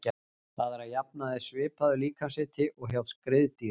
Það er að jafnaði svipaður líkamshiti og hjá skriðdýrum.